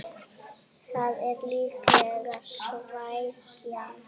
Það er líklega svækjan